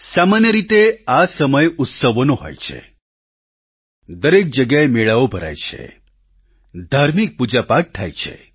સામાન્ય રીતે આ સમય ઉત્સવનો હોય છે દરેક જગ્યાએ મેળાઓ ભરાય છે ધાર્મિક પૂજાપાઠ થાય છે